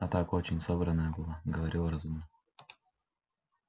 а так очень собранная была говорила разумно